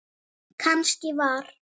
Kannski var